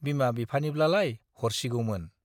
बिमा-बिफानिब्लालाय हरसिगौमोन।